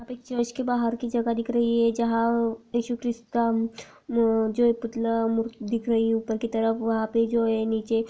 इक बाहर की जगह दिख रही हैजहाँ इशूकरिष्काम म-जो एक पुतला मूर दिख रही है ऊपर की तरफ वह पे जो है नीचे--